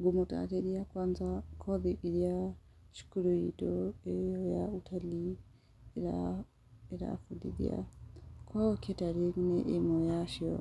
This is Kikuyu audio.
Ngũmũtarĩria kwanza kothi iria cukuru itũ ĩyo ya Utalii ĩrabundithia korwo catering nĩ ĩmwe yacio,